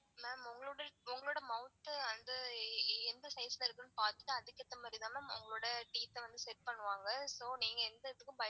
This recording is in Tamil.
Ma'am உங்களோட mouth அந்த எந்த size ல இருக்கு னு பாத்துட்டு அதுக்கு ஏத்த மாதிரி தான் ma'am உங்களோட teeth ஆ வந்த set பண்ணுவாங்க so நீங்க எந்த எதுக்கும் பயப்பட.